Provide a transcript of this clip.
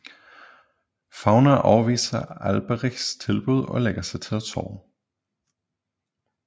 Fafner afviser Alberichs tilbud og lægger sig til at sove